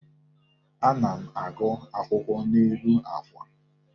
Ana m agụ akwụkwọ n'elu àkwà.